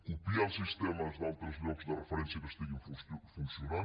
copiar els sistemes d’altres llocs de referència que funcionin